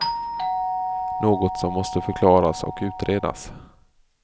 Något som måste förklaras och utredas.